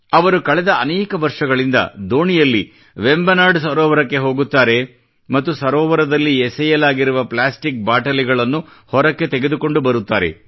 ಅವರು ಕಳೆದ ಅನೇಕ ವರ್ಷಗಳಿಂದ ದೋಣಿಯಲ್ಲಿ ವೆಂಬನಾಡ್ ಸರೋವರಕ್ಕೆ ಹೋಗುತ್ತಾರೆ ಮತ್ತು ಸರೋವರದಲ್ಲಿ ಎಸೆಯಲಾಗಿರುವ ಪ್ಲಾಸ್ಟಿಕ್ ಬಾಟಲಿಗಳನ್ನು ಹೊರಗೆ ತೆಗೆದುಕೊಂಡು ಬರುತ್ತಾರೆ